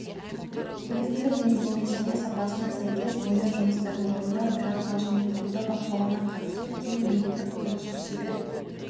біліктілік мінездемесіне сапасына сәйкес бояу жұмыстарын орындау операциялық және қабылдау бақылауына қатысу кең бейінді құрылысшы шебер